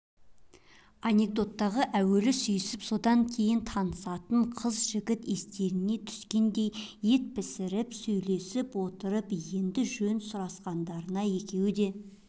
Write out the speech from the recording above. анекдоттағы әуелі сүйісіп содан кейін танысатын қыз-жігіт естеріне түскендей ет пісіріп сөйлесіп отырып енді жөн сұрасқандарына екеуі де